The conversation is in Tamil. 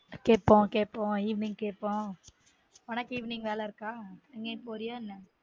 கேப்போம் கேப்போம் evening கேப்போம் உனக்கு evening வேல இருக்கா எங்கயும் போரியா என்ன